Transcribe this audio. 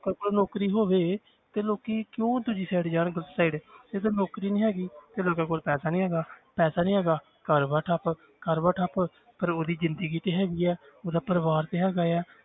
ਕਿਸੇ ਕੋਲ ਨੌਕਰੀ ਹੋਵੇ ਤੇ ਲੋਕੀ ਕਿਉਂ ਦੂਜੀ side ਜਾਣ ਗ਼ਲਤ side ਜਦੋਂ ਨੌਕਰੀ ਨੀ ਹੈਗੀ ਤੇ ਲੋਕਾਂ ਕੋਲ ਪੈਸਾ ਨੀ ਹੈਗਾ ਪੈਸਾ ਨੀ ਹੈਗਾ ਘਰ ਬਾਰ ਠੱਪ ਘਰ ਬਾਰ ਠੱਪ ਰੋਜ਼ ਦੀ ਜ਼ਿੰਦਗੀ ਤੇ ਹੈਗੀ ਹੈ ਉਹਦਾ ਪਰਿਵਾਰ ਤੇ ਹੈਗਾ ਹੈ